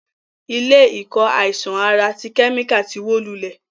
Ilé ìkọ́ àìsàn ara ti kẹ́míkà ti wó lulẹ̀.